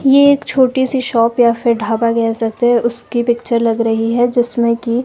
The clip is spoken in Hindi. ये एक छोटी सी शॉप या फिर ढाबा कह सकते है उसकी पिक्चर लग रही है जिसमें कि--